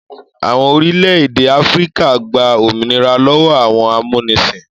Àwọn orílẹ̀-èdè Áfíríkà gba òmìnira lọ́wọ́ àwọn amúnisìn.